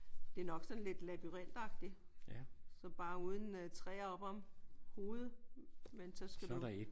Det er nok sådan lidt labyrintagtigt. Så bare uden træer oppe om hovedet men så skal du